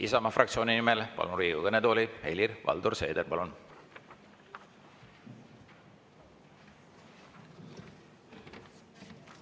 Isamaa fraktsiooni nimel palun Riigikogu kõnetooli, Helir-Valdor Seeder!